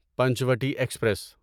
Panchavati express